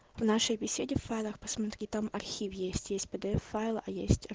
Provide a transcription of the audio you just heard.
в нашей беседе в файлах посмотри там архив есть с пдф файла а есть